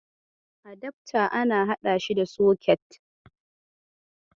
Adafta ana haɗa shi da soket.